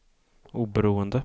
oberoende